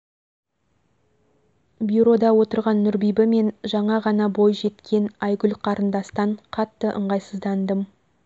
бюрода отырған нұрбибі мен жаңа ғана бой жеткен айгүл қарындастан қатты ыңғайсыздандым